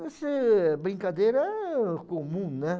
Esse brincadeira era comum, né?